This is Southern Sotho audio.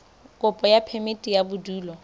kopo ya phemiti ya bodulo